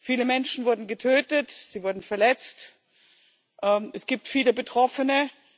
Viele Menschen wurden getötet, sie wurden verletzt, es gibt viele Betroffene.